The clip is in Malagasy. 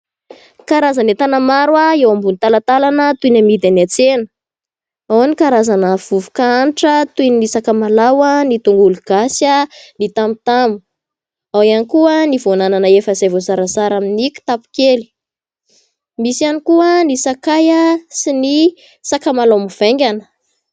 Karazana entana maro eo ambony talantalana toy ny amidy eny an-tsena. Ao ny karazana vovoka hanitra toy ny sakamalao, tongolo gasy, ny tamotamo. Ao ihany koa ny voan'anana izay efa voazara amin'ny kitapo kely. Misy ihany koa ny sakay sy ny sakamalao mivaingana.